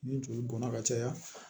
Ni joli bɔnna ka caya